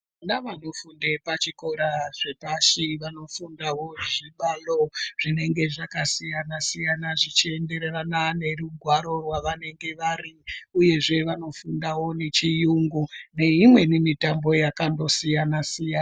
Vana vanofunda pazvikora zvepashi vafundawo zvibalo zvinenge zvakaenderana nerungwaro rwavanenge vari uyezve vanofundawo nechiyungu neimweni mitambo yakandosiyana siyana.